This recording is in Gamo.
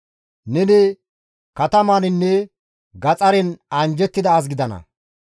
Neni katamaninne gaxaren anjjettida as gidana.